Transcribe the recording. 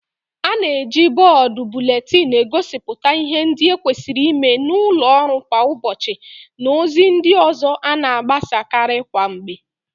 A na-eji bọọdu buletinu egosipụta ịhe ndị e kwesịrị ịme n'ụlọ ọrụ kwa ụbọchị na ozi ndị ọzọ a na-agbasa karị kwa mgbe.